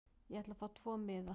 Ég ætla að fá tvo miða.